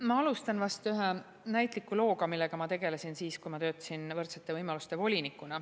Ma alustan vast ühe näitliku looga, millega ma tegelesin siis, kui ma töötasin võrdsete võimaluste volinikuna.